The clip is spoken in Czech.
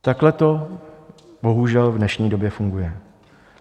Takhle to bohužel v dnešní době funguje.